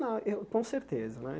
Não, eu com certeza né.